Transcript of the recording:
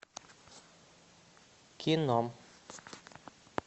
кино